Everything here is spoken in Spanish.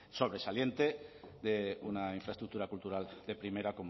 sobresaliente de una infraestructura cultural de primera